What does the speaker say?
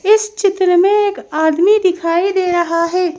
इस चित्र में एक आदमी दिखाई दे रहा है।